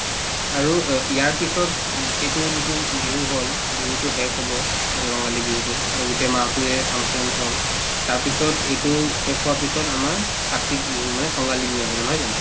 আৰু অ ইয়াৰ পিছত উব ইটোও যিটো বিহু হল বিহুতো শেষ হব ৰঙালী বিহুতো অ গোটেই মাহতোয়ে function হল তাৰপিছত ইটোও শেষ হোৱাৰ পিছত আমাৰ কাতিক বিহু মানে কঙালী বিহু আহিব নহয় জানো